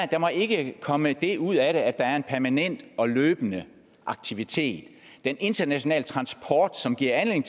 der må ikke komme det ud af det at der er en permanent og løbende aktivitet den internationale transport som giver anledning